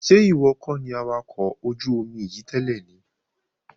Ṣé ìwọ kọ́ni awakọ̀ ọkọ̀ ojú omi yìí tẹ́lẹ̀ ni?